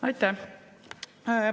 Aitäh!